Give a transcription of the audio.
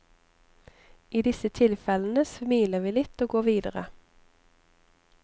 I disse tilfellene smiler vi litt og går videre.